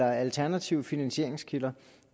og alternative finansieringskilder